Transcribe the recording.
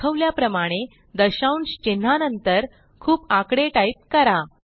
दाखवल्याप्रमाणे दशांश चिन्हानंतर खूप आकडे टाईप करा